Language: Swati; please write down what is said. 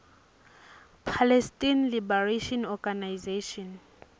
palestine liberation organization